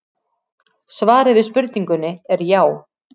Svarið við spurningunni er já.